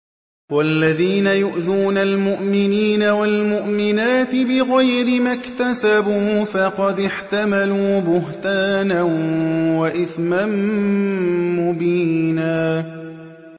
وَالَّذِينَ يُؤْذُونَ الْمُؤْمِنِينَ وَالْمُؤْمِنَاتِ بِغَيْرِ مَا اكْتَسَبُوا فَقَدِ احْتَمَلُوا بُهْتَانًا وَإِثْمًا مُّبِينًا